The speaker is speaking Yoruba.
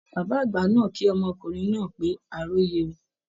Bàbá àgbà náà kí ọkùnrin náà pé a róyè o